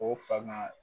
O fa ma